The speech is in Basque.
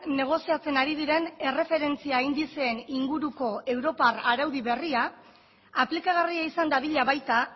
negoziatzen ari diren erreferentzia indizeen inguruko europar araudi berria aplikagarria izan dadila baita